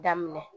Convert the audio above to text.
Daminɛ